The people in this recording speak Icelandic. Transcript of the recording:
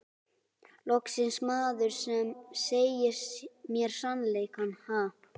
Loksins maður sem segir mér sannleikann, ha?